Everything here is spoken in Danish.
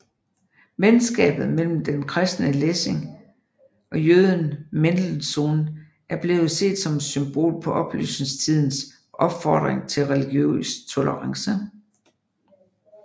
Venskabet mellem den kristne Lessing og jøden Mendelssohn er blevet set som et symbol på oplysningstidens opfordring til religiøs tolerance